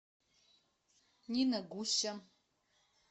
нина гуща